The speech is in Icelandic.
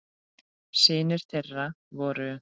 Synir þeirra voru